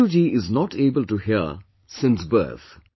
Manju jiis not able to hear since birth